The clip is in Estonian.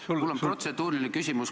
Mul on protseduuriline küsimus.